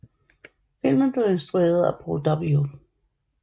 Filmen blev instrueret af Paul W